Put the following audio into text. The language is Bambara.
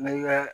Miiri ka